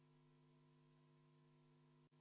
V a h e a e g